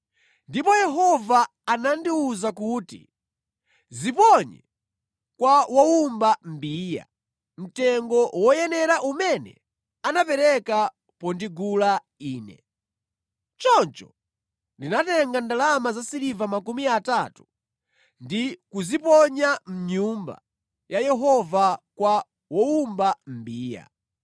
Ndipo Yehova anandiwuza kuti, “Ziponye kwa wowumba mbiya,” mtengo woyenera umene anapereka pondigula Ine! Choncho ndinatenga ndalama zasiliva makumi atatu ndi kuziponya mʼnyumba ya Yehova kwa wowumba mbiya.